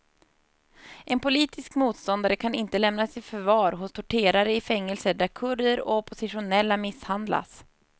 En politisk motståndare kan inte lämnas i förvar hos torterare i fängelser där kurder och oppositionella misshandlas.